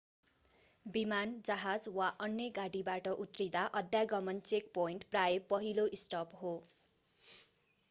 विमान जहाज वा अन्य गाडीबाट उत्रिदा अध्यागमन चेकपोइन्ट प्रायः पहिलो स्टप हो